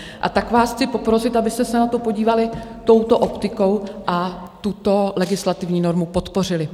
A tak vás chci poprosit, abyste se na to podívali touto optikou a tuto legislativní normu podpořili.